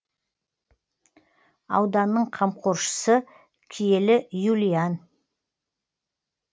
ауданның қамқоршысы киелі юлиан